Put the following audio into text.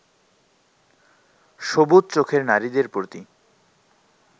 সবুজ চোখের নারীদের প্রতি